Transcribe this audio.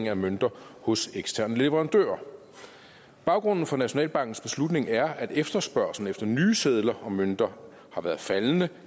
af mønter hos eksterne leverandører baggrunden for nationalbankens beslutning er at efterspørgslen efter nye sedler og mønter har været faldende